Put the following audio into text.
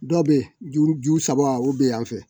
Dɔ bɛ yen juru ju saba o bɛ yan fɛ